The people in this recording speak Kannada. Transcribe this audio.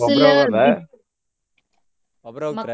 ಒಬ್ರ ಹೋಗೋದಾ? ಒಬ್ರ ಹೋಗ್ತಿರಾ?